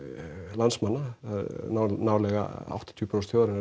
landsmanna nálega áttatíu prósent þjóðarinnar